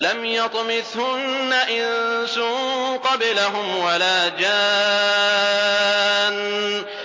لَمْ يَطْمِثْهُنَّ إِنسٌ قَبْلَهُمْ وَلَا جَانٌّ